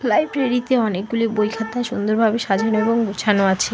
লাইব্রেরীতে অনেকগুলি বই খাতা সুন্দরভাবে সাজানো এবং গোছানো আছে।